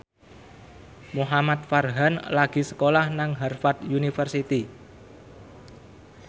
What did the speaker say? Muhamad Farhan lagi sekolah nang Harvard university